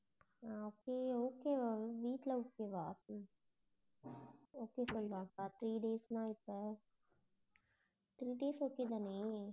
ஆஹ் okay okay வா உங்க வீட்ல okay வா okay சொல்லுவாங்களா three days னா இப்ப three days okay தானே